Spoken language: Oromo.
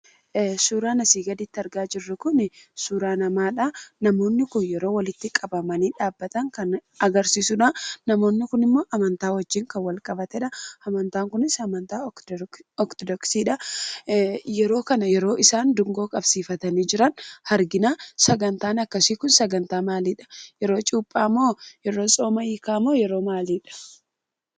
Suuraan asi gaditti argaa jiru kuni, suuraa namadha. Namooni kun yeroo walitti qabamani dhabataan kan agarsisuudha. Namooni kun immoo Amanta wajiin kan walqabateedha. Amantaan kunis "Amantaa Ortodoksiidha". Yeroo kana yeroo isaan dungoo qabsifatani jiraan argiana. Sagantaan akkasi kun, sangata maaliidha? Yeroo cuuphaa moo, yetoo soomaa hiikaa moo yeroo maaliidha?